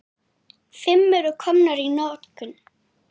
Fimm eru komnar í notkun.